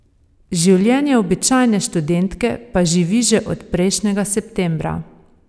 Življenje običajne študentke pa živi že od prejšnjega septembra.